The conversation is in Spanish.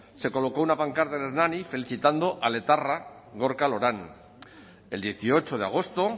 se colocó una pancarta en hernani felicitando al etarra gorka loran el dieciocho de agosto